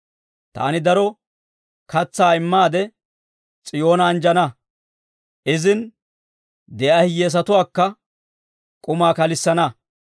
Taani daro katsaa immaade S'iyoono anjjana; izin de'iyaa hiyyeesatuwaakka k'umaa kalissana.